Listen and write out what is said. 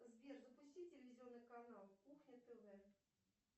сбер запусти телевизионный канал кухня тв